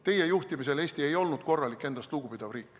Teie juhtimisel Eesti ei olnud korralik, endast lugupidav riik.